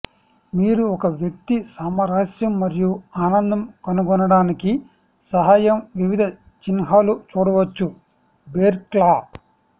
మీరు ఒక వ్యక్తి సామరస్యం మరియు ఆనందం కనుగొనడానికి సహాయం వివిధ చిహ్నాలు చూడవచ్చు బేర్ క్లా